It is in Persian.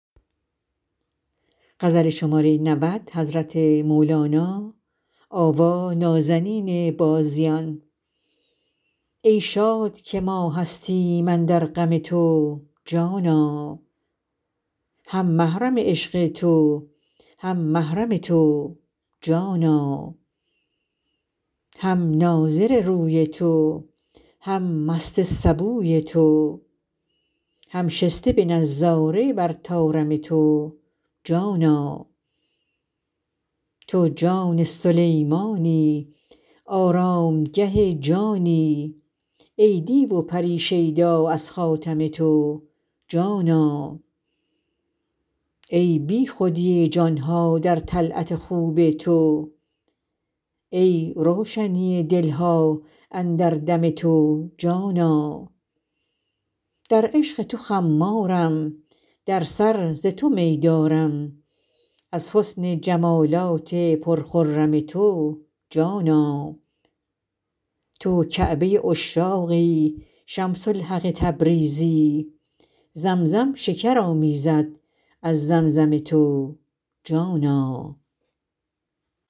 ای شاد که ما هستیم اندر غم تو جانا هم محرم عشق تو هم محرم تو جانا هم ناظر روی تو هم مست سبوی تو هم شسته به نظاره بر طارم تو جانا تو جان سلیمانی آرامگه جانی ای دیو و پری شیدا از خاتم تو جانا ای بیخودی جان ها در طلعت خوب تو ای روشنی دل ها اندر دم تو جانا در عشق تو خمارم در سر ز تو می دارم از حسن جمالات پرخرم تو جانا تو کعبه عشاقی شمس الحق تبریزی زمزم شکر آمیزد از زمزم تو جانا